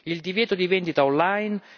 il divieto di vendita on line